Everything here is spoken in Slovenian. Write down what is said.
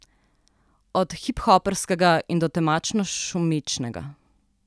Od hiphoperskega in do temačno šumečega.